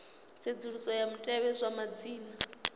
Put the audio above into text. tsedzuluso ya mutevhe wa madzina